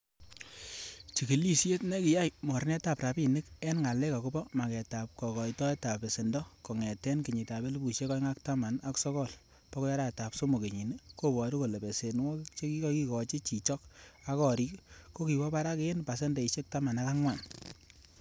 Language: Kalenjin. Chigilisiet nekiyai mornetab rabinik en ngalek agobo magetab kokoitoetab besendo kongeten kenyitab elpusiek oeng ak taman ak sogol bokoi arawetab somok kenyini koboru kole besenwogik chekikikochi chichok ak gorik kokiwo barak en pasendeisiek taman ak angwan.